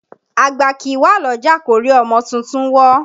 Àgbà kìí wà lọ́jà kórí ọmọ tuntun wọ́